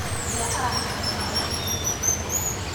ũria araheana mahĩtia nĩ ũ?